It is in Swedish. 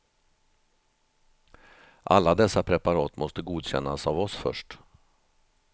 Alla dessa preparat måste godkännas av oss först.